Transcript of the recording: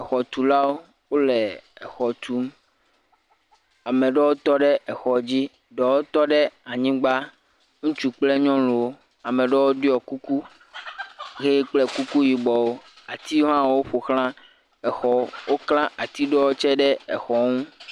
Xɔtulawo wo le exɔ tum. Ame aɖewo tɔ ɖe exɔ dzi, ɖewo tɔ ɖe anyigba, ŋutsu kple nyuɔnuwo. Ame aɖewo ɖɔ kuku ʋe kple kuku yibɔwo. Atiwo hã woƒoxla exɔwo. Wokla ati ɖe tse ɖe exɔ nu.